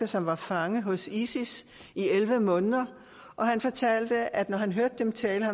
som var fange hos isis i elleve måneder og han fortalte at de når han hørte dem tale